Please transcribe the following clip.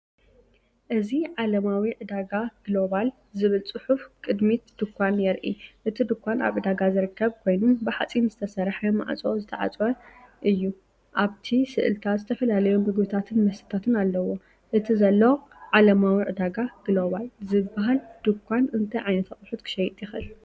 እዚ“ዓለማዊ ዕዳጋ ግሎባል” ዝብል ጽሑፍ ቅድሚት ድኳን የርኢ። እቲ ድኳን ኣብ ዕዳጋ ዝርከብ ኮይኑ፡ ብሓጺን ዝተሰርሐ ማዕጾ ዝተዓጽወ እዩ። ኣብቲ ስእልታት ዝተፈላለዩ መግብታትን መስተታትን ኣለዎ። እቲ ዘሎ “ዓለማዊ ዕዳጋ ግሎባል” ዝበሃል ድኳን እንታይ ዓይነት ኣቑሑት ክሸይጥ ይኽእል?